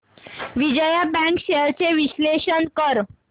Vijaya bank shares चे विश्लेषण कर